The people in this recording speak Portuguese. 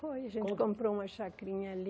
Foi, a gente comprou uma chacrinha ali.